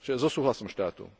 súhlasom štátu.